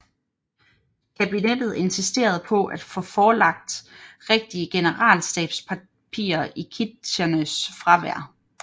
Kabinettet insisterede på at få forelagt rigtige generalstabspapirer i Kitcheners fravær